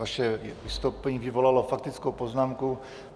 Vaše vystoupení vyvolalo faktickou poznámku.